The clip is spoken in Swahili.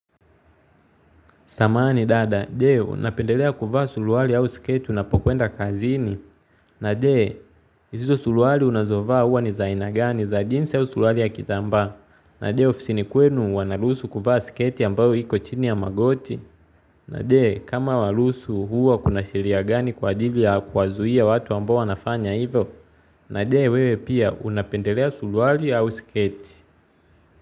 Samahani dada, je, unapendelea kuvaa suruali au sketi unapokwenda kazini. Na je, hizo suruali unazovaa huwa ni za aina gani za jinsi au suruali ya kitambaa. Na je, ofisi ni kwenu wanaruhusu kuvaa sketi ambayo iko chini ya magoti. Na je, kama waruhusu huwa kuna sheria gani kwa adili ya kuwazuia watu ambao wanafanya hivyo. Na je, wewe pia, unapendelea suruali au sketi.